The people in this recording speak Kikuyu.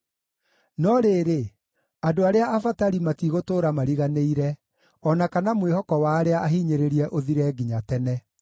No rĩrĩ, andũ arĩa abatari matigũtũũra mariganĩire, na kana mwĩhoko wa arĩa ahinyĩrĩrie ũthire nginya tene.